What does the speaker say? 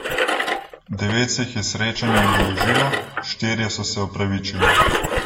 Devet se jih je srečanja udeležilo, štirje so se opravičili.